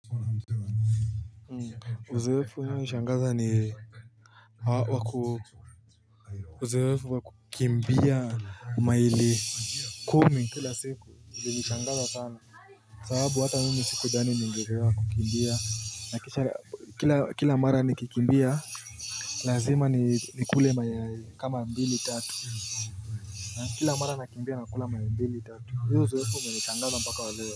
Uzoefu inayonishangaza ni haa waku Uzoefu wakukimbia maili kumi Kila siku ilinishangaza sana sababu hata mimi siku dhani ningeweza kukimbia Kila mara nikikimbia Lazima nikule mayai kama mbili tatu Kila mara nakimbia nakula mayai mbili tatu hiyo uzoefu umenishangaza mpaka waleo.